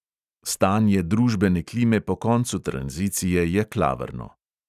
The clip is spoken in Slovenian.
Stanje družbene klime po koncu tranzicije je klavrno.